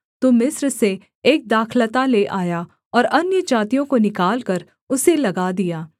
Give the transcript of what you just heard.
तू मिस्र से एक दाखलता ले आया और अन्यजातियों को निकालकर उसे लगा दिया